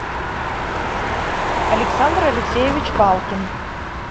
александр алексеевич палкин